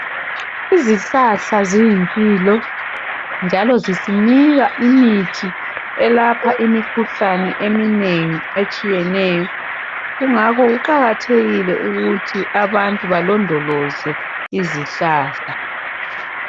Izihlahla ziyimpilo njalo zisinika imithi elapha imikhuhlane eminengi etshiyeneyo kungakho kuqakathekile ukuthi abantu balondoloze izihlahla.